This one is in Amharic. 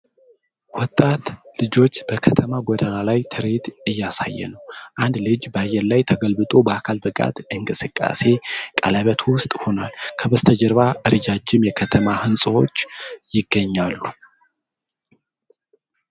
ወጣት ልጆች በከተማ ጎዳና ላይ ትርኢት እያሳየ ነው። አንዱ ልጅ በአየር ላይ ተገልብጦ በአካል ብቃት እንቅስቃሴ ቀለበት ውስጥ ሆኗል። ከበስተጀርባ ረዣዥም የከተማ ሕንፃዎች ይገኛሉ።